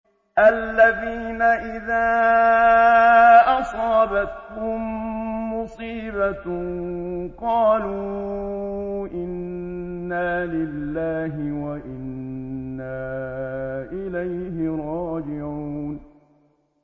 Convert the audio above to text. الَّذِينَ إِذَا أَصَابَتْهُم مُّصِيبَةٌ قَالُوا إِنَّا لِلَّهِ وَإِنَّا إِلَيْهِ رَاجِعُونَ